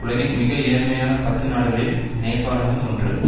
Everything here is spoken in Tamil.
உலகின் மிக ஏழ்மையான பத்து நாடுகளில் நேபாளமும் ஒன்று